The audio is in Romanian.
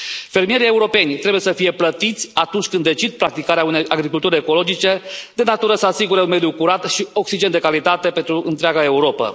Fermierii europeni trebuie să fie plătiți atunci când decid să practice o agricultură ecologică de natură să asigure un mediu curat și oxigen de calitate pentru întreaga Europă.